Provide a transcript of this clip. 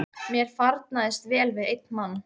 Mér farnaðist vel við einn mann.